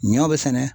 Ɲɔ be sɛnɛ